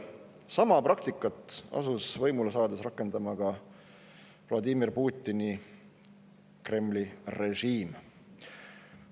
Sama praktikat asus võimule saanuna rakendama ka Vladimir Putini Kremli režiim.